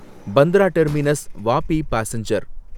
Bandra terminus Vapi passenger